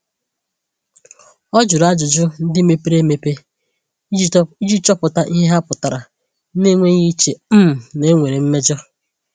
Ọ jụrụ ajụjụ ndị mepere emepe iji chọpụta ihe ha pụtara na-enweghị iche um na e nwere mmejọ.